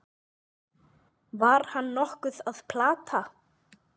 Var hann nokkuð að plata?